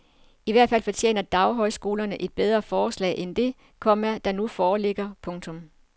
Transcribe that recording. I hvert fald fortjener daghøjskolerne et bedre forslag end det, komma der nu foreligger. punktum